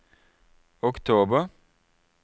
oktober